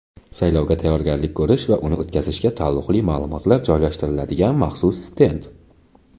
saylovga tayyorgarlik ko‘rish va uni o‘tkazishga taalluqli maʼlumotlar joylashtiriladigan maxsus stend;.